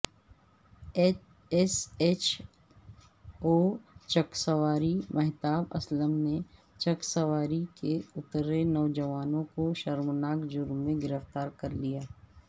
S H اوچکسواری مہتاب اسلم نے چکسواری کے اتھرے نوجوان کوشرمناک جرم میں گرفتارکرلیا